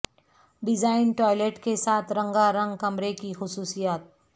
design toilet کے ساتھ رنگا رنگ کمرے کی خصوصیات